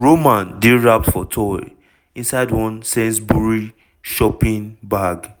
roman dey wrapped for towel inside one sainsbury shopping bag.